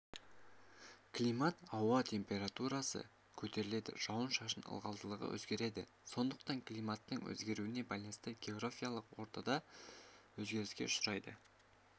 климат ауа температурасы көтеріледі жауын-шашын ылғалдылығы өзгереді сондықтан климаттың өзгеруіне байланысты географиялық орта да өзгеріске ұшырайды